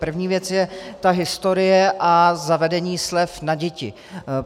První věc je ta historie a zavedení slev na děti.